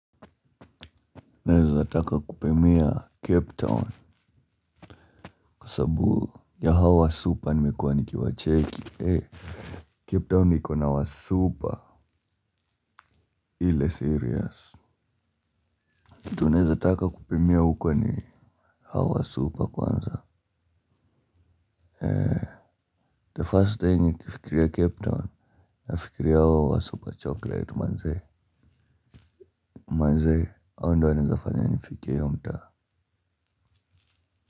Naezataka kupimia cape town kwa sababu ya hawa wasupa nimekuwa nikiwacheki ee cape town iko na wasupa ile serious kitu naezataka kupimia huko ni hawa wasupa kwanza ee the first thing nikifikiria cape town nafikiria hawa wasupa chocolate manzee manzee ao ndio wanaezafanya nifike hiyo mtaa.